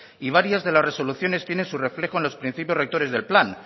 y varias de las resoluciones tienen su reflejo en los principios rectores del plan